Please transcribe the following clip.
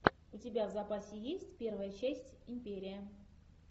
у тебя в запасе есть первая часть империя